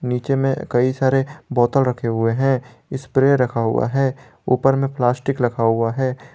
नीचे में कई सारे बोतल रखे हुए हैं स्प्रे रखा हुआ है ऊपर में प्लास्टिक रखा हुआ है।